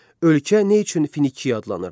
Ölkə nə üçün Finiya adlanırdı?